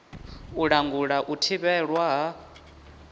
u langula u thivhelwa ha